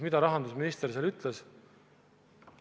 Mida rahandusminister seal ütles?